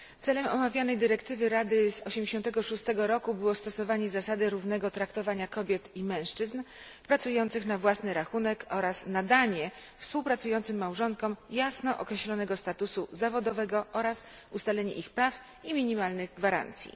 Celem omawianej dyrektywy Rady z 1986 roku było stosowanie zasady równego traktowania kobiet i mężczyzn pracujących na własny rachunek oraz nadanie współpracującym małżonkom jasno określonego statusu zawodowego oraz ustalenie ich praw i minimalnych gwarancji.